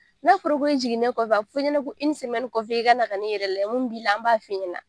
Ne in jiginnen kɔfɛ a bɛ f'i ɲɛna ko kɔfɛ i ka na ka n'i yɛrɛ lajɛ mun b'i la an b'a f'i ɲɛna.